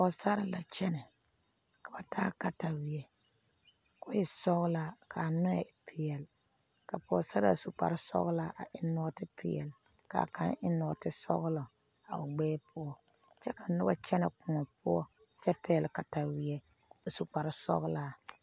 Pɔɔsarre la kyɛnɛ ka ba taa kataweɛ Ko e sɔglaa kaa nɔɛ e peɛle ka pɔɔsaraa su kparesɔglaa a eŋ nɔɔte peɛle kaa kaŋ eŋ nɔɔte sɔglɔ a o gbɛɛ poɔ kyɛ ka nobɔ kyɛnɛ kõɔ poɔ kyɛ pɛgle kataweɛ a su kparesɔglaa.